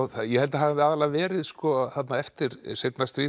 ég held að það hafi aðallega verið eftir seinna stríð